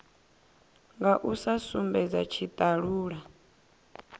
nga u sa sumbedza tshitalula